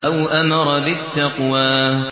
أَوْ أَمَرَ بِالتَّقْوَىٰ